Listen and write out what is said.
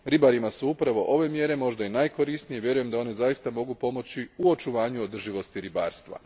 Ribarima su upravo ove mjere možda i najkorisnije i vjerujem da one zaista mogu pomoći u očuvanju održivosti ribarstva.